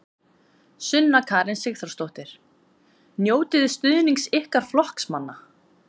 Sunna Karen Sigurþórsdóttir: Njótiði stuðnings ykkar flokksmanna?